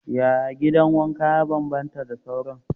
Yaya gidan wanka ya bambanta da sauran?